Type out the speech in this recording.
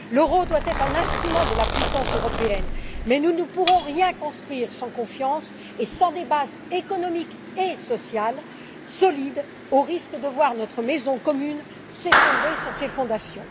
L'euro doit être un instrument de la puissance européenne, mais nous ne pourrons rien construire sans confiance et sans des bases économiques et sociales solides, au risque de voir notre maison commune s'effondrer sur ses fondations.